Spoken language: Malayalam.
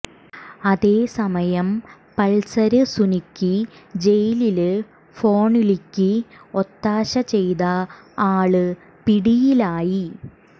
അതേസമയം പള്സര് സുനിക്ക് ജയിലില് ഫോണ്വിളിക്ക് ഒത്താശ ചെയ്ത ആള് പിടിയിലായി